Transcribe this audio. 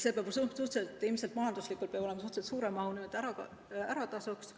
See peab ju majanduslikult suhteliselt suure mahuga olema, et ära tasuks.